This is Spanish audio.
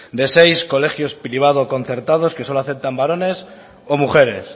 de seis colegios privado concertados que solo aceptan varones o mujeres